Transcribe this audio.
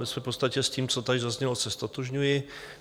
Ve své podstatě s tím, co tady zaznělo, se ztotožňuji.